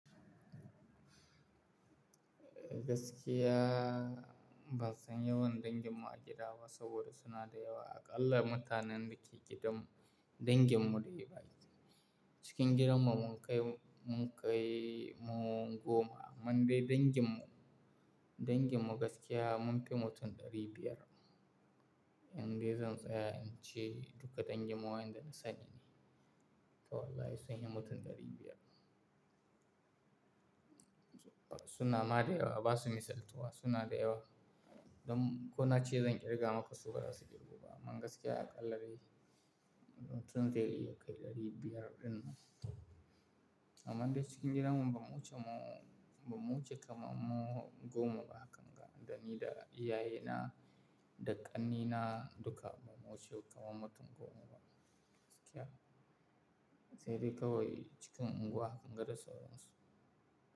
Gaskiya ban san yawan danginmu a gida ba saboda suna da yawa. Aƙalla mutanen da ke gidanmu danginmu da yawa Cikin gidanmu mun kai, mun kai mu goma amma dai danginmu, danginmu gaskiya munfi mutum ɗari biyar. Indai zan tsaya in ce duka danginmu wayanda na sani To wallahi sun yi mutum ɗari biyar. Suna ma da yawa ba su yi misaltuwa suna da yawa. Don ko na ce zan kirga maku su baza su girguba amma gaskiya aƙalla dai mutun dai kai ɗari biyar ɗin nan. Amma dai cikin gidanmu ba mu wuce mu, ba mu wuce kama mu goma ba hakan ga. Da ni da iyaye na da ƙannaina duka ba mu wuce kama mutum goma ba gaskiya. Sai dai kawai cikin unguwa hakan ga da sauransu.